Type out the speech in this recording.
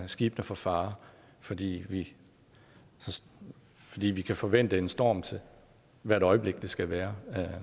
skibene for fare fordi vi fordi vi kan forvente en storm hvert øjeblik det skal være